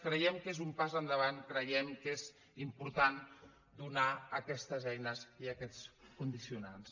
creiem que és un pas endavant creiem que és important donar aquestes eines i aquests condicionants